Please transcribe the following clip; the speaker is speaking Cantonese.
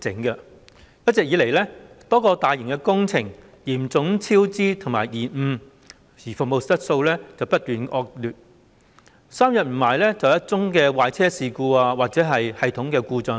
一直以來，多個大型工程嚴重超支和延誤，服務質素不斷惡化，三數天便有一宗壞車事故或系統故障。